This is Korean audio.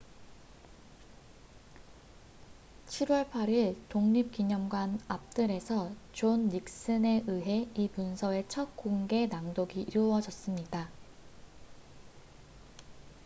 7월 8일 독립기념관 앞뜰에서 존 닉슨에 의해 이 문서의 첫 공개 낭독이 이루어졌습니다